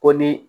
Ko ni